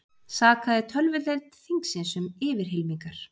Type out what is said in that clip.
Sakaði tölvudeild þingsins um yfirhylmingar